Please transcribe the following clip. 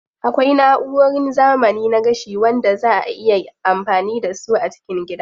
Akwai na'urorin zamani na gashi wanda zaa a iya amfani da su a cikin gida.